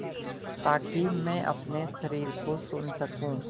ताकि मैं अपने शरीर को सुन सकूँ